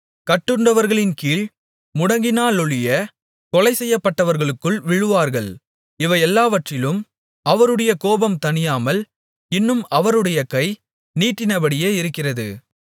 கட்டுண்டவர்களின்கீழ் முடங்கினாலொழிய கொலைசெய்யப்பட்டவர்களுக்குள் விழுவார்கள் இவையெல்லாவற்றிலும் அவருடைய கோபம் தணியாமல் இன்னும் அவருடைய கை நீட்டினபடியே இருக்கிறது